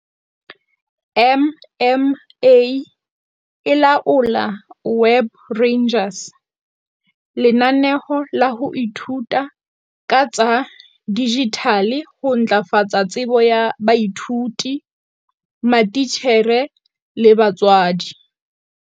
MMA e laola Web Rangers, lenaneo la ho ithuta ka tsa dijithale ho ntlafatsa tsebo ya baithuti, matitjhere le batswadi.